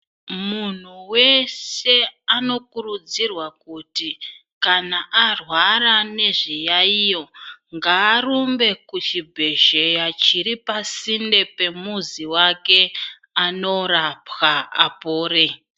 Munhu weshe ano kurudzirwa kuti kana arwara nezviyayiyo, ngaarumbe kuchibhedhlera chiri pasinde pemuzi wake anorapwa apore.